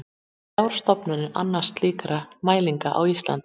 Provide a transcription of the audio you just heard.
Þrjár stofnanir annast slíkar mælingar á Íslandi.